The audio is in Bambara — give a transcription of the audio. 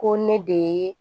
Ko ne de ye